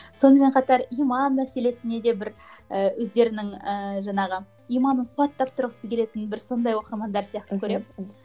сонымен қатар иман мәселесіне де бір і өздерінің ііі жаңағы иманын қуаттап тұрғысы келетін бір сондай оқырмандар сияқты көремін